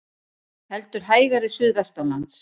Heldur hægari suðvestanlands